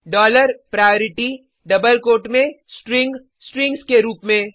dollar priority double quotes में string strings के रूप में